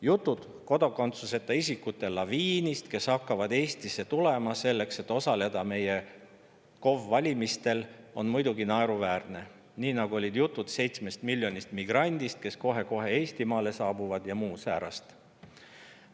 Jutud kodakondsuseta isikute laviinist, kes hakkavad Eestisse tulema selleks, et osaleda meie KOV‑valimistel, on muidugi naeruväärne, nii nagu jutud 7 miljonist migrandist, kes kohe-kohe Eestimaale saabuvad, ja muud säärast.